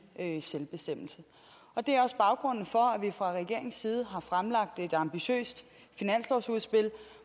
selvbestemmelse det er også baggrunden for at vi fra regeringens side har fremlagt et ambitiøst finanslovsudspil